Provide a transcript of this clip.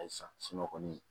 Halisa kɔni